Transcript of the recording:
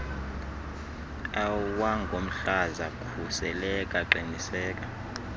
awangomhlaza khuseleka qiniseka